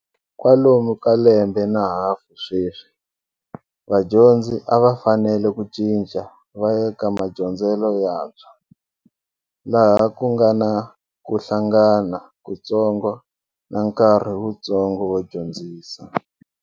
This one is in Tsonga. Kwalomu ka lembe na hafu sweswi, vadyondzi a va fanele ku cinca vaya eka madyondzelo yantshwa, laha ku nga na ku hlangana ku ntsongo na nkarhi wuntsongo wo dyondzisa.